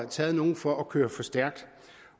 taget nogen for at køre for stærkt